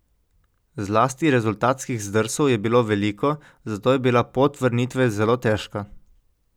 Zlasti rezultatskih zdrsov je bilo veliko, zato je bila pot vrnitve zelo težka.